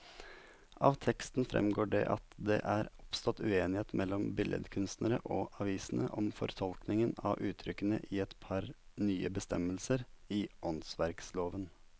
Av teksten fremgår det at det er oppstått uenighet mellom billedkunstnerne og avisene om fortolkningen av uttrykkene i et par nye bestemmelser i åndsverkloven.